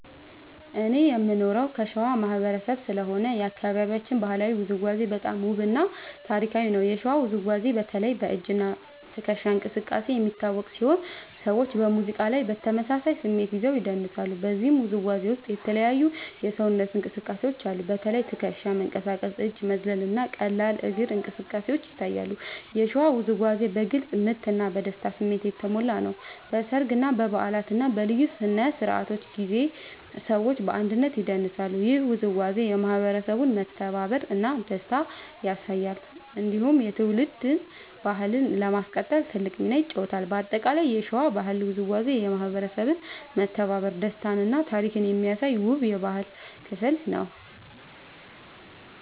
እኔ የምኖረው ከሸዋ ማህበረሰብ ስለሆነ የአካባቢያችን ባህላዊ ውዝዋዜ በጣም ውብ እና ታሪካዊ ነው። የሸዋ ውዝዋዜ በተለይ በ“እጅ እና ትከሻ እንቅስቃሴ” የሚታወቅ ሲሆን ሰዎች በሙዚቃ ላይ በተመሳሳይ ስሜት ይዘው ይደንሳሉ። በዚህ ውዝዋዜ ውስጥ የተለያዩ የሰውነት እንቅስቃሴዎች አሉ። በተለይ ትከሻ መንቀሳቀስ፣ እጅ መዝለል እና ቀላል እግር እንቅስቃሴ ይታያሉ። የሸዋ ውዝዋዜ በግልጽ ምት እና በደስታ ስሜት የተሞላ ነው። በሰርግ፣ በበዓላት እና በልዩ ስነ-ስርዓቶች ጊዜ ሰዎች በአንድነት ይደንሳሉ። ይህ ውዝዋዜ የማህበረሰቡን መተባበር እና ደስታ ያሳያል። እንዲሁም የትውልድ ባህልን ለማስቀጠል ትልቅ ሚና ይጫወታል። በአጠቃላይ የሸዋ ባህላዊ ውዝዋዜ የማህበረሰብ መተባበር፣ ደስታ እና ታሪክ የሚያሳይ ውብ የባህል ክፍል ነው።